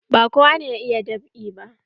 Ba kowa ne ya iya dab'i ba.